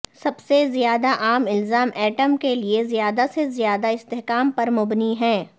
سب سے زیادہ عام الزام ایٹم کے لئے زیادہ سے زیادہ استحکام پر مبنی ہیں